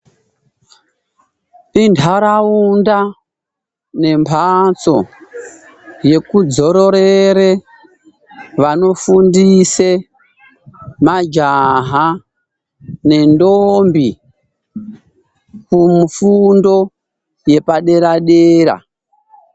Intaraunda nembatso yekudzororere vanofundise majaha nendombi kufundo yepadera-dera.